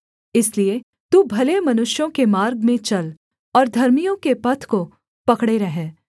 इसलिए तू भले मनुष्यों के मार्ग में चल और धर्मियों के पथ को पकड़े रह